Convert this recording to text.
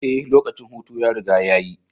Ee, lokacin hutu ya riga ya yi.